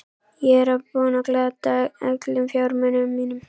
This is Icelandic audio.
Ég er búinn að glata öllum fjármunum mínum.